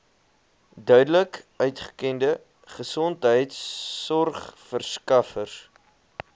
duidelik uitgekende gesondheidsorgverskaffers